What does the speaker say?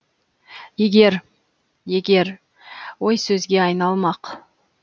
егер егер ой сөзге айналмақ